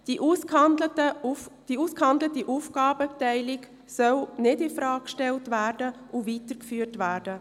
Die ausgehandelte Aufgabenteilung soll nicht infrage gestellt, sondern weitergeführt werden.